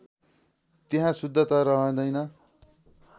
त्यहाँ शुद्धता रहँदैन